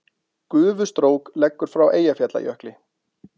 Gufustrók leggur frá Eyjafjallajökli